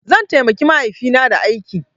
Zan taimaki mahaifina da aiki.